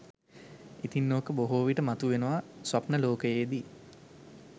ඉතින් ඕක බොහෝ විට මතුවෙනවා ස්වප්න ලෝකයේදී